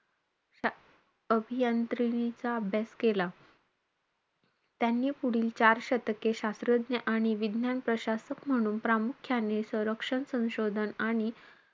अभियांत्रीचा अभ्यास केला. त्यांनी पुढील चार शतके, शास्त्रज्ञ आणि विज्ञान प्रशासक म्हणून प्रामुख्याने, सरंक्षन संशोधन आणि,